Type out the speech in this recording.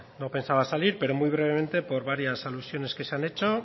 bueno no pensaba salir pero muy brevemente por varias alusiones que se han hecho